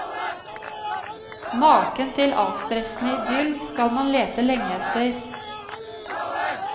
Maken til avstressende idyll skal man lete lenge etter.